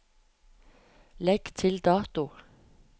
Legg til dato